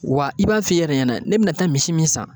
Wa i b'a f'i yɛrɛ ɲɛnɛ ne bina taa misi min san